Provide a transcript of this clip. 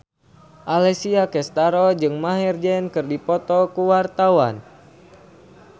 Alessia Cestaro jeung Maher Zein keur dipoto ku wartawan